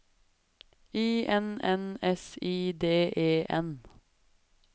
I N N S I D E N